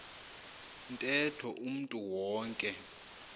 ntetho umntu wonke